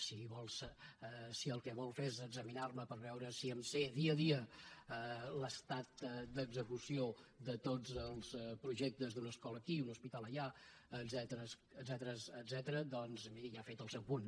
si el que vol fer és examinar me per veure si em sé dia a dia l’estat d’execució de tots els projectes d’una escola aquí un hospital allà etcètera doncs miri ja ha fet el seu punt